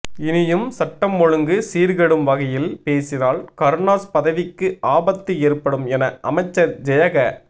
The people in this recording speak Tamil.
இனியும் சட்டம் ஒழுங்கு சீர்கெடும் வகையில் பேசினால் கருணாஸ் பதவிக்கு ஆபத்து ஏற்படும் என அமைச்சர் ஜெயக